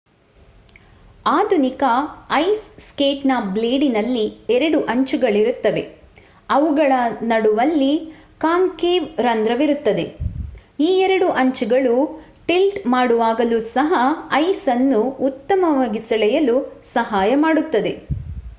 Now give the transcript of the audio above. ಆಧುನಿಕ ice skate ನ ಬ್ಲೇಡಿನಲ್ಲಿ ಎರಡು ಅಂಚುಗಳಿರುತ್ತವೆ ಅವುಗಳ ನಡುವಲ್ಲಿ ಕಾಂಕೇವ್ ರಂದ್ರವಿರುತ್ತದೆ ಈ ಎರಡು ಅಂಚುಗಳು ಟಿಲ್ಟ್ ಮಾಡುವಾಗಲೂ ಸಹ ಐಸ್ ಅನ್ನು ಉತ್ತಮವಾಗಿ ಸೆಳೆಯಲು ಸಹಾಯ ಮಾಡುತ್ತದೆ